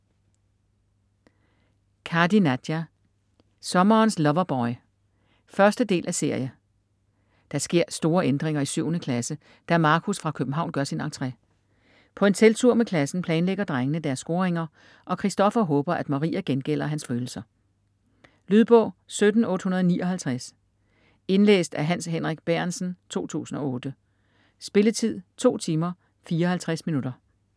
Kadi, Nadia: Sommerens loverboy 1.del af serie. Der sker store ændringer i 7. klasse, da Markus fra København gør sin entre. På en telttur med klassen planlægger drengene deres scoringer, og Christoffer håber at Maria gengælder hans følelser. Lydbog 17859 Indlæst af Hans Henrik Bærentsen, 2008. Spilletid: 2 timer, 54 minutter.